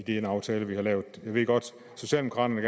den aftale vi har lavet jeg ved godt at socialdemokraterne